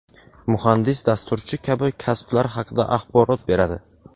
muhandis dasturchi kabi kasblar haqida axborot beradi.